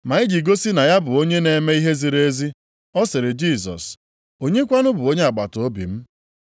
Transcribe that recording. Ma iji gosi na ya bụ onye na-eme ihe ziri ezi, ọ sịrị Jisọs, “Onye kwanụ bụ onye agbataobi m?”